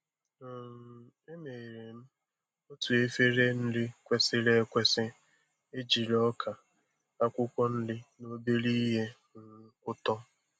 um Emere m otu efere nri kwesịrị ekwesị, ejiri ọka, akwụkwọ nri, na obere ihe um ụtọ.